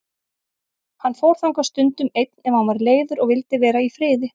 Hann fór þangað stundum einn ef hann var leiður og vildi vera í friði.